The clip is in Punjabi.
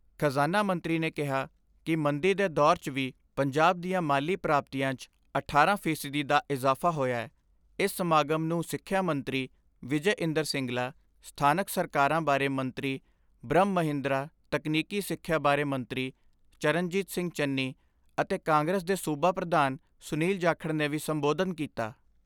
ਖ਼ਜ਼ਾਨਾ ਮੰਤਰੀ ਨੇ ਕਿਹਾ ਕਿ ਮੰਦੀ ਦੇ ਦੌਰ 'ਚ ਵੀ ਪੰਜਾਬ ਦੀਆਂ ਮਾਲੀ ਪ੍ਰਾਪਤੀਆਂ 'ਚ ਅਠਾਰਾਂ ਫੀਸਦੀ ਦਾ ਇਜ਼ਾਫਾ ਹੋਇਐ ਇਸ ਸਮਾਗਮ ਨੂੰ ਸਿਖਿਆ ਮੰਤਰੀ ਵਿਜੈ ਇੰਦਰ ਸਿੰਗਲਾ, ਸਥਾਨਕ ਸਰਕਾਰਾਂ ਬਾਰੇ ਮੰਤਰੀ ਬ੍ਰਹਮ ਮਹਿੰਦਰਾ ਤਕਨੀਕੀ ਸਿਖਿਆ ਬਾਰੇ ਮੰਤਰੀ ਚਰਨਜੀਤ ਸਿੰਘ ਚੰਨੀ ਅਤੇ ਕਾਂਗਰਸ ਦੇ ਸੂਬਾ ਪ੍ਰਧਾਨ ਸੁਨੀਲ ਜਾਖੜ ਨੇ ਵੀ ਸੰਬੋਧਨ ਕੀਤਾ।